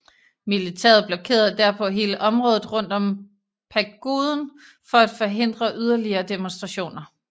Militæret blokerede derpå hele området rundt om pagoden for at forhindre yderligere demonstrationer der